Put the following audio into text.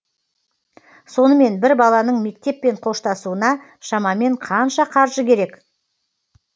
сонымен бір баланың мектеппен қоштасуына шамамен қанша қаржы керек